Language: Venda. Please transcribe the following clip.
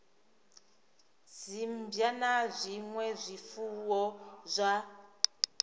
dzimmbwa na zwinwe zwifuwo zwa